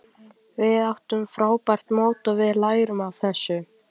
Við áttum frábært mót og við lærum af þessu.